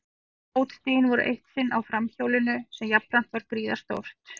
Fótstigin voru eitt sinn á framhjólinu sem jafnframt var gríðarstórt.